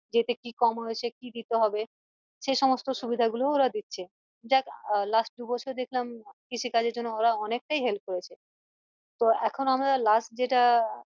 যে এতে কি কম হয়েছে কি দিতে হবে সে সমস্ত সুবিধা গুলোও ওরা দিচ্ছে দেখ last দু বছরে দেখলাম কৃষি কাজের জন্য ওরা অনেকটাই help করেছে তো এখন আমরা last যেটা